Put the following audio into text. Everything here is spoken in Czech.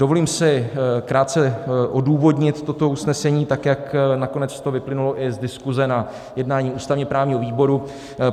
Dovolím si krátce odůvodnit toto usnesení, tak jak nakonec to vyplynulo i z diskuse na jednání ústavně právního výboru.